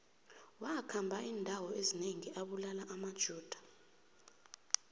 wakhamba indawo ezinengi abulala amajuda